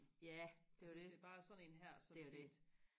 ja det er jo det det er jo det